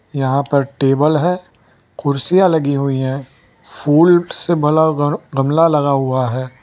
यहां पर टेबल है कुर्सियां लगी हुई हैं फूल से भला गमला लगा हुआ है।